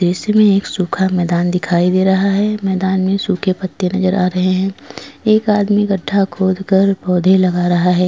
दृश्य में एक सूखा मैदान दिखाई दे रहा है मैदान में सूखे पत्ते नजर आ रहे हैं एक आदमी गड्ढा खोदकर पौधे लगा रहा है।